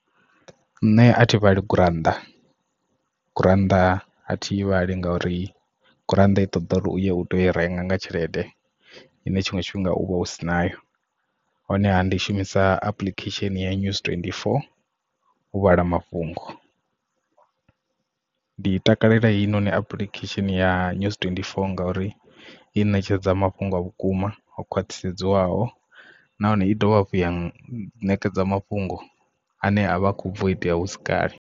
Nṋe a thi vhali gurannḓa gurannḓa a thivhali ngauri gurannḓa i ṱoḓa uri uyo u tea u i renga nga tshelede ine tshiṅwe tshifhinga u vha u si nayo honeha ndi i shumisa application ya NEWS24 u vhala mafhungo ndi takalela heinoni apulikhesheni ya NEWS24 ngauri i netshedza mafhungo a vhukuma o khwathisedzwaho nahone i dovha hafhu ya ṋekedza mafhungo ane a vha khou bva itea husi kale.